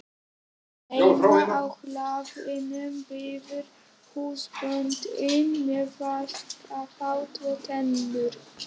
Heima á hlaðinu bíður húsbóndinn með vaskafat og tengur.